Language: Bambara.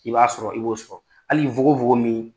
K'i b'a sɔrɔ i b'o sɔrɔ. hali fogofogo min